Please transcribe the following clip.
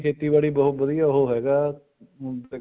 ਖੇਤੀਬਾੜੀ ਬਹੁਤ ਉਹ ਹੈਗਾ ਹੁਣ